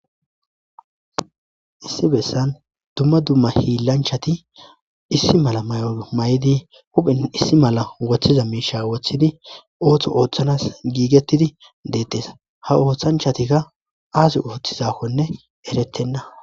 issi bessan dumma dumma hiillanchati issi mala may7o may7idi huphen issi mala woththiza miisha woththidi ooththo ooththanas giigettidi deetteesa ha ooththanchatikka aasi ooththizakkonne eretenna